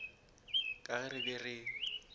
ka ge re be re